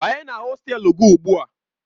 Banye na hostelu gị ugbu a!